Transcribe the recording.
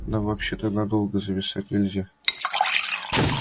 нам вообще-то надолго зависать нельзя